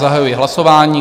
Zahajuji hlasování.